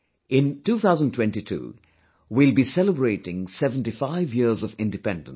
In 2022, we will be celebrating 75 years of Independence